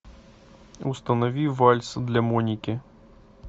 установи вальс для моники